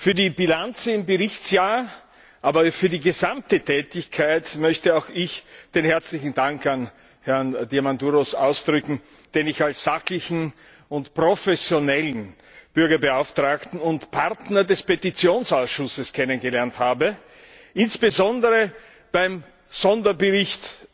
Für die Bilanz des Berichtsjahrs, aber auch für die gesamte Tätigkeit möchte auch ich meinen herzlichen Dank an Herrn Diamandouros zum Ausdruck bringen, den ich als sachlichen und professionellen Bürgerbeauftragten und Partner des Petitionsausschusses kennengelernt habe, insbesondere beim Sonderbericht